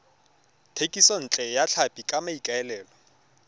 thekisontle ya tlhapi ka maikaelelo